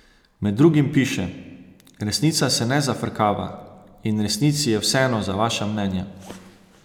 Med drugim piše: "Resnica se ne zafrkava, in resnici je vseeno za vaša mnenja.